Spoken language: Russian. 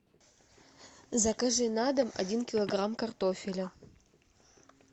закажи на дом один килограмм картофеля